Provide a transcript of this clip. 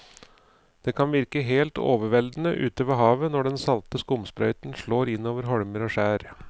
Det kan virke helt overveldende ute ved havet når den salte skumsprøyten slår innover holmer og skjær.